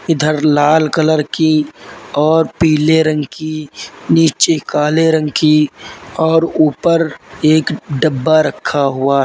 इधर लाल कलर की और पीले रंग की नीचे काले रंग की और ऊपर एक डब्बा रखा हुआ है।